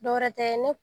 Dɔwɛrɛ tɛ ne